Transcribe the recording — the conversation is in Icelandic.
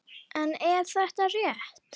En er það rétt?